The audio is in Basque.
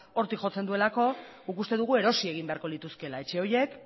hortik jotzen duelako guk uste dugu erosi egin beharko lituzkeela etxe horiek